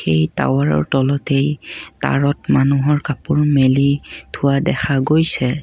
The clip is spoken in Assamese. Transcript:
এই টাৱাৰৰ তলতে তাঁৰত মানুহৰ কাপোৰ মেলি থোৱা দেখা গৈছে।